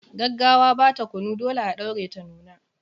Gaggawa ba ta kunu, dole a ɗaure ta nuna.